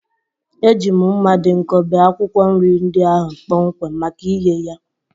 Eji m mma dị nkọ bee akwukwo nri ndị ahụ kpọmkwem maka ighe ya.